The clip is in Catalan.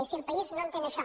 i si el país no entén això